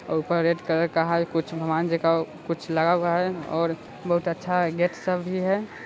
ऊपर red colour का हर कुछ भगवान जी का कुछ लगा हुआ है और बहुत अच्छा है।